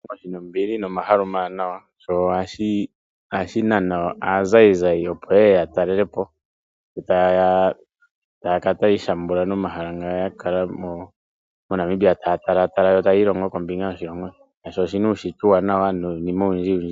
Oshilongo shi na ombili nomahala omawanawa ,sho ohashi nana aazayizayi opo ye ye ya talele po. E taye ya ya kale tayi ishambula nomahala ngoka ya kala mo Namibia taya talaataala yo tayi ilongo kombinga yoshilongo, shaashi oshi na uunshitwe uuwanawa niinima oyindjiyindji .